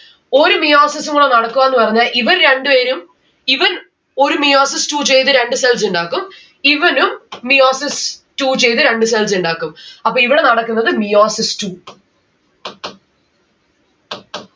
ഒരു meiosis ഉമാ നടക്കുവാന്ന് പറഞ്ഞ ഇവർ രണ്ട്‌ പേരും ഇവൻ ഒരു meiosis two ചെയ്ത് രണ്ട് cells ഇണ്ടാക്കും. ഇവനും meiosis two ചെയ്ത് രണ്ട്‌ cells ഇണ്ടാക്കും. അപ്പോ ഇവിടെ നടക്കുന്നത് meiosis two